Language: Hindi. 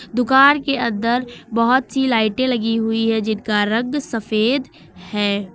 दुकान के अंदर बहुत सी लाइटें लगी हुई हैं जिनका रंग सफेद है।